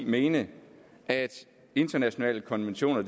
mene at internationale konventioner